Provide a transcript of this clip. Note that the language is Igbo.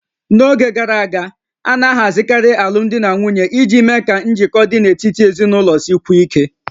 N'oge gara aga, a na-ahazikarị alụmdi na nwunye iji mee ka njikọ dị n'etiti ezinụlọ sikwuo ike